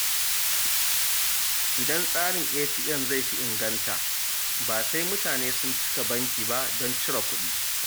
Idan tsarin ATM zai fi inganta, ba sai mutane sun cika banki ba don cire kuɗi.